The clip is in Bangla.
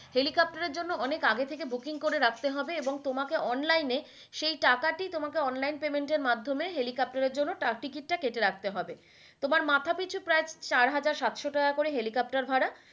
helicopter এর জন্য অনেক আগে থেকে booking করে রাখতে হবে এবং তোমাকে online সেই টাকা টি তোমাকে Online payment এর মাধ্যমে helicopter এর জন্য তার Ticket টা কেটে রাখতে হবে তোমার মাথা পিছু প্রায় চার হাজার সাতশো টাকা করে helicopter ভাড়া।